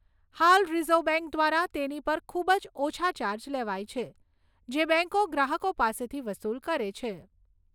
હાલ reserve bank દ્વારા તેની પર ખૂબ જ ઓછા ચાર્જ લેવાય છે, જે બેંકો ગ્રાહકો પાસેથી વસુલ કરે છે.